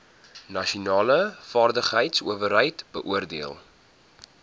nasionale vaardigheidsowerheid beoordeel